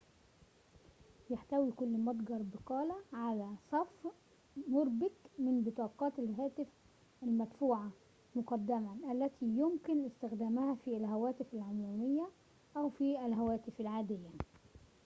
يحتوي كل متجر بقالة على صف مُربك من بطاقات الهاتف المدفوعة مُقدماً التي يمكن استخدامها في الهواتف العمومية أو في الهواتف العادية